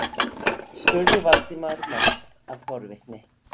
spurði Valdimar, mest af forvitni.